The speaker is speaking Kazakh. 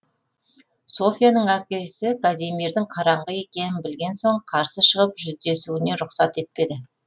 софьяның әкесі казимирдың қараңғы екенін білген соң қарсы шығып жүздесуіне рұқсат етпеді